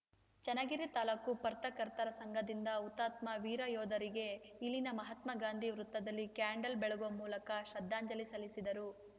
ಚನ್ನಗಿರಿ ತಾಲೂಕು ಪ್ರತ್ರಕರ್ತರ ಸಂಘದಿಂದ ಹುತಾತ್ಮ ವೀರಯೋಧರಿಗೆ ಇಲ್ಲಿನ ಮಹಾತ್ಮ ಗಾಂಧಿ ವೃತ್ತದಲ್ಲಿ ಕ್ಯಾಂಡಲ್‌ ಬೆಳಗುವ ಮೂಲಕ ಶ್ರದ್ಧಾಂಜಲಿ ಸಲ್ಲಿಸಿದರು